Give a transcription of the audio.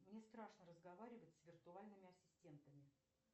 мне страшно разговаривать с виртуальными ассистентами